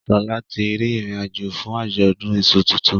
Shola tí rí ìrìn àjò fún Ajọdun iṣu títún